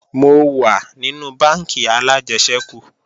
Mo wà nínú bánkì alájẹsẹ́kù